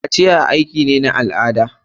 Kaciya aiki ne na al'ada.